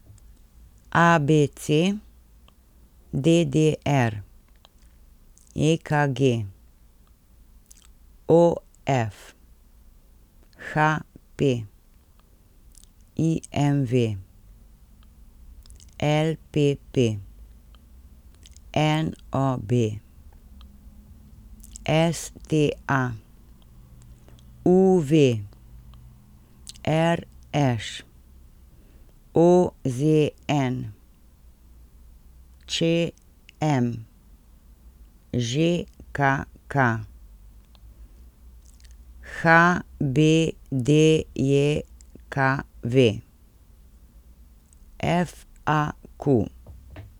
A B C; D D R; E K G; O F; H P; I M V; L P P; N O B; S T A; U V; R Š; O Z N; Č M; Ž K K; H B D J K V; F A Q.